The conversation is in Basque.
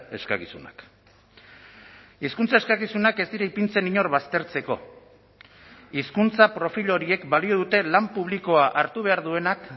eskakizunak hizkuntza eskakizunak ez dira ipintzen inor baztertzeko hizkuntza profil horiek balio dute lan publikoa hartu behar duenak